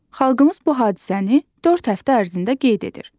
Xalqımız bu hadisəni dörd həftə ərzində qeyd edir.